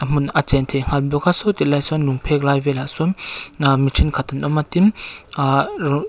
hmun a sawi tilai sawn lung phek lai velah sawn ahh mi thenkhat an awm a tin uhh ro--